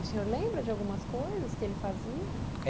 E o senhor lembra de algumas coisas que ele fazia? É